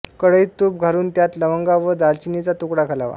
कढईत तूप घालून त्यात लवंगा व दालचिनीचा तुकडा घालावा